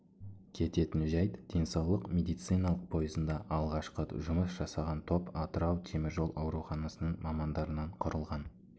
кететін жәйт денсаулық медициналық пойызында алғашқы жұмыс жасаған топ атырау темір жол ауруханасының мамандарынан құрылған